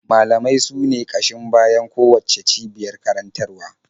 Malamai sune ƙashin bayan kowacce cibiyar karantarwa.